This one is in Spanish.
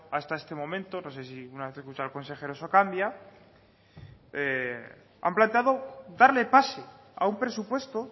hasta este momento no se una vez escuchado el consejero eso cambia han planteado darle pase a un presupuesto